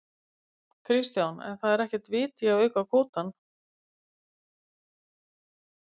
Kristján: En það er ekkert vit í að auka kvótann?